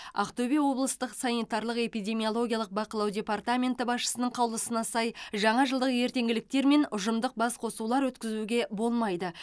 ақтөбе облыстық санитарлық эпидемиологиялық бақылау департаменті басшысының қаулысына сай жаңа жылдық ертеңшіліктер мен ұжымдық басқосулар өткізуге болмайды